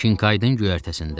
Kinkaydın göyərtəsində.